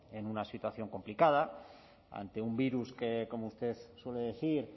en una situación complicada ante un virus que como usted suele decir